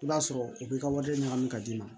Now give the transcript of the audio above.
I b'a sɔrɔ u bɛ ka wale ɲagami ka d'i ma